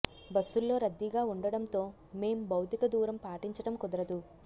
బస్సుల్లో రద్దీగా ఉండడంతో మేం భౌతిక దూరం పాటించటం కుదరదు